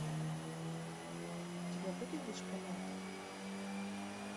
у тебя будет дошколята